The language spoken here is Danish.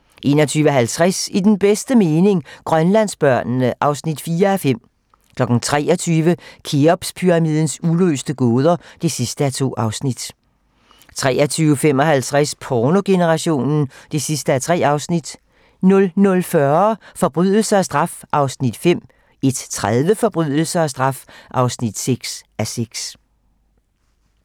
21:50: I den bedste mening - Grønlandsbørnene (4:5) 23:00: Kheopspyramidens uløste gåder (2:2) 23:55: Pornogenerationen (3:3) 00:40: Forbrydelse og straf (5:6) 01:30: Forbrydelse og straf (6:6)